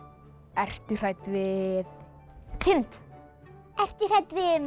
ertu hrædd við kind ertu hrædd við